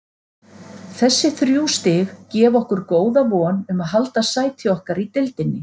Þessi þrjú stig gefa okkur góða von um að halda sæti okkar í deildinni.